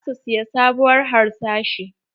Za su siya sabuwar harsashi.